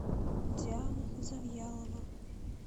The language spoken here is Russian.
диана завьялова